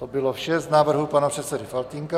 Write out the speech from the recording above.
To bylo vše z návrhů pana předsedy Faltýnka.